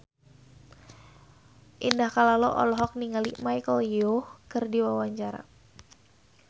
Indah Kalalo olohok ningali Michelle Yeoh keur diwawancara